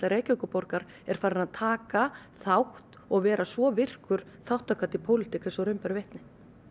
Reykjavíkurborgar er farin að taka þátt og vera svo virkur þátttakandi í pólitík eins og raun ber vitni